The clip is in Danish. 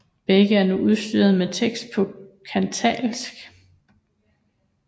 Begge er nu udstyret med tekst på catalansk